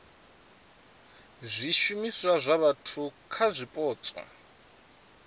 zwishumiswa zwa vhathu kha zwipotso